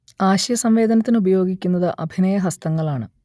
ആശയസംവദനത്തിന് ഉപയോഗിക്കുന്നത് അഭിനയഹസ്തങ്ങളാണ്